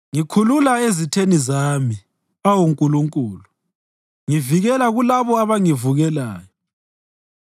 Ngikhulula ezitheni zami, awu Nkulunkulu; ngivikela kulabo abangivukelayo.